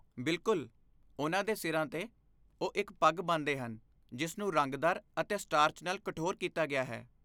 ਬਿਲਕੁਲ! ਉਨ੍ਹਾਂ ਦੇ ਸਿਰਾਂ 'ਤੇ, ਉਹ ਇੱਕ ਪੱਗ ਬੰਨ੍ਹਦੇ ਹਨ ਜਿਸ ਨੂੰ ਰੰਗਦਾਰ ਅਤੇ ਸਟਾਰਚ ਨਾਲ ਕਠੋਰ ਕੀਤਾ ਗਿਆ ਹੈ।